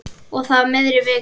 Og það í miðri viku.